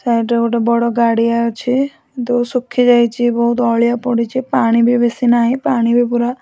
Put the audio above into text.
side ରେ ଗୋଟେ ଗାଡିଆ ଅଛି ଦୋ ଶୁଖି ଯାଇଚୁ ବହୁତ ଅଳିଆ ପଡ଼ିଛି ପାଣି ବେଶି ନାହିଁ ପାଣି ବି ପୁରା --